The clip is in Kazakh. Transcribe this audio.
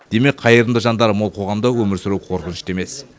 демек қайырымды жандары мол қоғамда өмір сүру қорқынышты емес